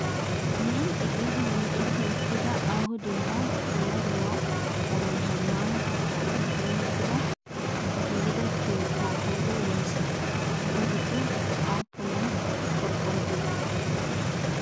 Milxxi giidi micetti uttida aaho dembban duumma dumma qommo zammaana shuchchappe puulatti giigida keetta qooday woyisee? Eta giddon aappunay qorqqoro keettee?